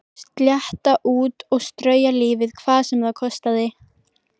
Slétta út og strauja lífið hvað sem það kostaði.